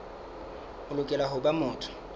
o lokela ho ba motho